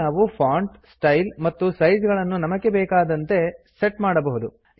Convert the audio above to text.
ಇಲ್ಲಿ ನಾವು font style ಮತ್ತು ಸೈಜ್ ಗಳನ್ನು ನಮಗೆ ಬೇಕಾದಂತೆ ಸೆಟ್ ಮಾಡಬಹುದು